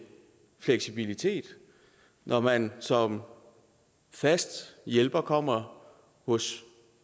fleksibilitet når man som fast hjælper kommer hos